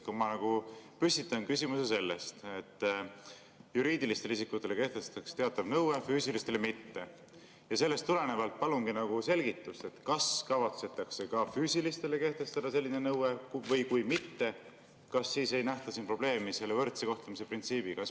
Ma püstitasin küsimuse selle kohta, et juriidilistele isikutele kehtestatakse teatav nõue, füüsilistele mitte, ja sellest tulenevalt palusingi selgitust, kas kavatsetakse ka füüsilistele kehtestada selline nõue, ja kui mitte, kas siis ei nähta siin probleemi võrdse kohtlemise printsiibi.